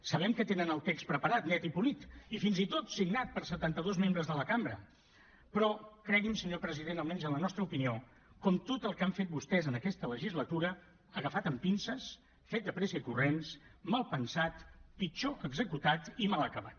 sabem que tenen el text preparat net i polit i fins i tot signat per setanta dos membres de la cambra però cregui’m senyor president almenys en la nostra opinió com tot el que han fet vostès en aquesta legislatura agafat amb pinces fet de pressa i corrents mal pensat pitjor executat i mal acabat